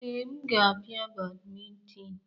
Ee, m ga-apia badminton.